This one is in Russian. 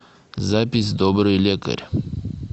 запись добрый лекарь